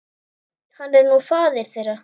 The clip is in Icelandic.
Hann er nú faðir þeirra.